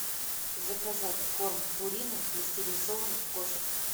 заказать корм пурина для стерилизованных кошек